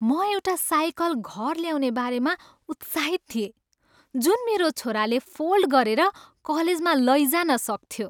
म एउटा साइकल घर ल्याउने बारेमा उत्साहित थिएँ जुन मेरो छोराले फोल्ड गरेर कलेजमा लैजान सक्थ्यो।